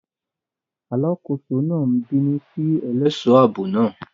Alákòóso náà ń bínú sí ẹlẹ́ṣọ̀ ààbò náà.